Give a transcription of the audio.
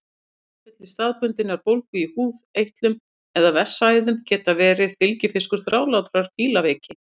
Bráðatilfelli staðbundinnar bólgu í húð, eitlum eða vessaæðum geta verið fylgifiskur þrálátrar fílaveiki.